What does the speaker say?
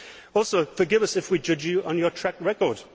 Also, forgive us if we judge you on your track record.